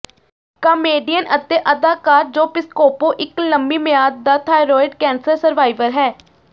comedian ਅਤੇ ਅਦਾਕਾਰ Joe Piscopo ਇੱਕ ਲੰਮੀ ਮਿਆਦ ਦਾ ਥਾਈਰੋਇਡ ਕੈਂਸਰ ਸਰਵਾਈਵਰ ਹੈ